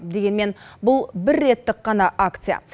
дегенмен бұл бір реттік қана акция